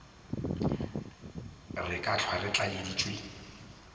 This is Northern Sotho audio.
re ka hlwa re tlaleditšwe